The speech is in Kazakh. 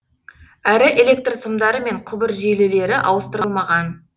әрі электр сымдары мен құбыр желілері ауыстырылмаған